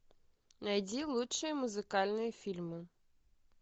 найди лучшие музыкальные фильмы